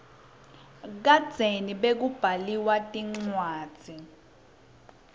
kadzeni bekubaliwa tincwadzi